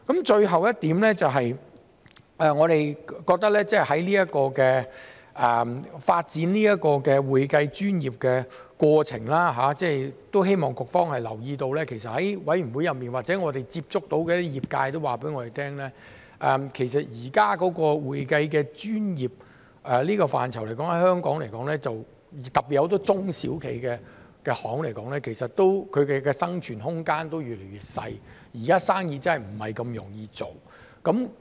最後一點，我們覺得在發展會計專業的過程中，都希望局方留意到，其實在法案委員會裏或我們接觸到的業界都告訴我們，其實現時會計專業這個範疇在香港來說，特別對很多中小企來說，生存空間都越來越小，現時生意真的不容易做。